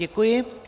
Děkuji.